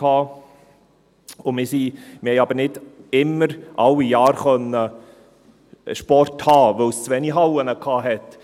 Wir konnten aber nicht immer jedes Jahr Sport haben, weil es zu wenige Hallen hatte.